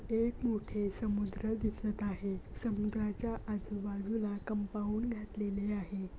एक मोठे समुद्र दिसत आहे समुद्राच्या आजबाजूला कंपाऊंड घातलेले आहे.